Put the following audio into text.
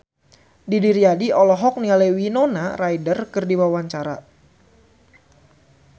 Didi Riyadi olohok ningali Winona Ryder keur diwawancara